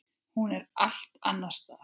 Hún er allt annars staðar.